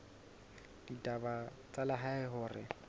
la ditaba tsa lehae hore